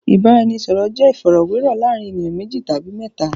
Ìbáraẹnisọ̀rọ̀ jẹ́ ìfọ̀rọ̀wérọ̀ láàárín ènìyàn méjì tàbí mẹ́ta.